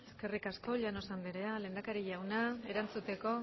eskerrik asko llanos anderea lehendakari jauna erantzuteko